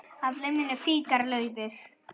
Af liminu fýkur laufið.